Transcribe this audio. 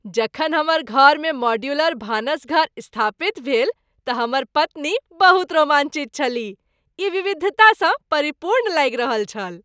जखन हमर घरमे मॉडुलर भानसघर स्थापित भेल तऽ हमर पत्नी बहुत रोमांचित छलीह। ई विविधता स परिपूर्ण लागि रहल छल।